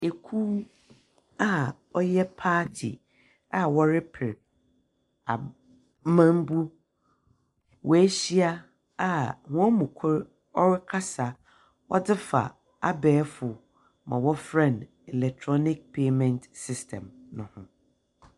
Ekuw a ɔyɛ party a wɔreper amambu. Woehyia a hɔn mu kor ɔrekasa ɔdze fa abɛɛfo ma wɔfrɛ no electrnic payment system no ho.